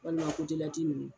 Walima kotelati ninnu.